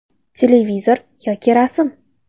Televizor yoki rasm?